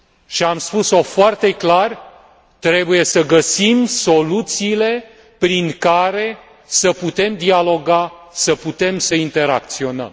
Și am spus o foarte clar trebuie să găsim soluțiile prin care să putem dialoga, să putem să interacționăm.